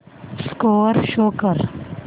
score show कर